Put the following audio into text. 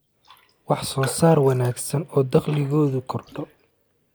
wax soo saar wanaagsan oo dakhligoodu kordho